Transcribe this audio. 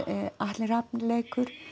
Atli Rafn leikur